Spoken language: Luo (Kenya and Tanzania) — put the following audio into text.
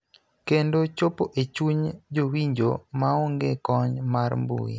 kendo chopo e chuny jowinjo maonge kony mar mbui.